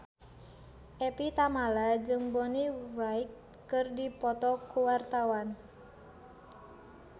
Evie Tamala jeung Bonnie Wright keur dipoto ku wartawan